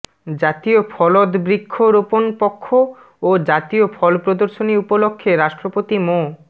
জাতীয় ফলদবৃক্ষ রোপণ পক্ষ ও জাতীয় ফল প্রদর্শনী উপলক্ষে রাষ্ট্রপতি মো